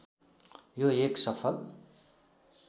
यो एक सफल